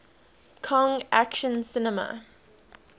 kong action cinema